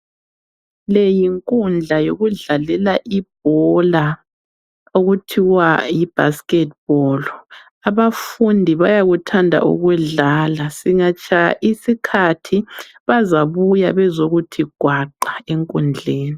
Leyi yinkundla yokudlalela ibhola okuthiwa yibasketball. Abafundi bayakuthanda ukudlala. Singatshaya isikhathi bazabuya bezokuthi gwaqa enkundleni.